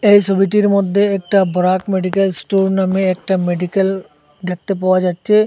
এই সবিটির মধ্যে একটা বরাক মেডিকেল স্টোর নামে একটা মেডিকেল দেখতে পাওয়া যাচ্ছে।